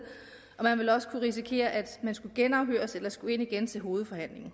og man ville også kunne risikere at skulle genafhøres eller at skulle komme ind igen til hovedforhandlingen